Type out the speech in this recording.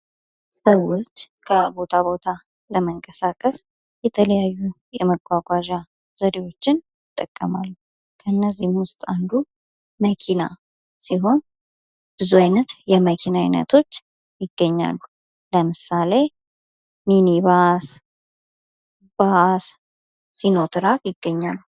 ሰዎች ከቦታ ቦታ ለመንቀሳቀስ የተለያዩ የመጓጓዣ ዘዴዎችን ይጠቀማሉ ከእነዚህም ውስጥ አንዱ መኪና ሲሆን ብዙ አይነት የመኪና አይነቶች ይገኛሉ። ለምሳሌ:-ሚኒባስ፣ ባስ፣ ሲኖትራክ ይገኛሉ።